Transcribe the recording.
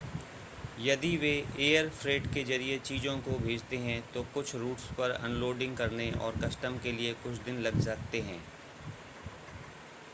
यदि वे air freight के ज़रिए चीज़ों को भेजते हैं तो कुछ रूट्स पर अनलोडिंग करने और कस्टम के लिए कुछ दिन लग सकते हैं